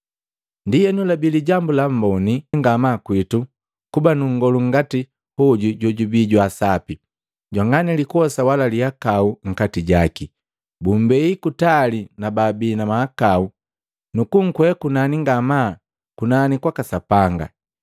Ndienu labii lijambu la mboni ngamaa kwitu kuba nu nngolu ngati hoju jojubi jwa sapi, jwanga ni likosa wala lihakau nkati jaki; bumbei kutali na babii na mahakau nu kunkwea kunani ngamaa kunani kwaka Sapanga.